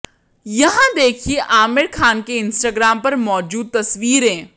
यहां देखिए आमिर खान के इंस्टाग्राम पर मौजूद तस्वीरें